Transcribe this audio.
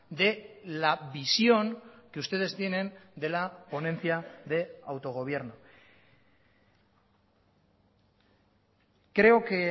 de la visión que ustedes tienen de la ponencia de autogobierno creo que